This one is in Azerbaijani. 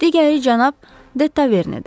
Digəri cənab Detavernedir.